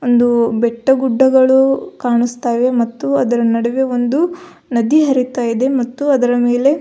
ಒಂದು ಬೆಟ್ಟಗುಡ್ಡಗಳು ಕಾಣಿಸ್ತಾ ಇವೆ ಮತ್ತು ಅದರ ನಡುವೆ ಒಂದು ನದಿ ಹರಿತ ಇದೆ ಮತ್ತು ಅದರ ಮೇಲೆ --